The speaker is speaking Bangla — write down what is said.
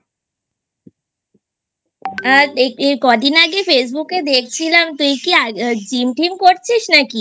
আ দেখি কদিন আগে Facebook এ দেখছিলাম তুই কি Gym টিম করছিস নাকি